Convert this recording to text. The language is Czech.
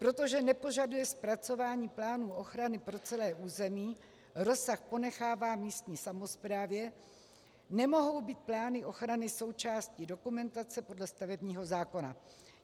Protože nepožaduje zpracování plánů ochrany pro celé území, rozsah ponechává místní samosprávě, nemohou být plány ochrany součástí dokumentace podle stavebního zákona.